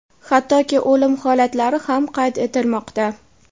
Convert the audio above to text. hattoki o‘lim holatlari ham qayd etilmoqda.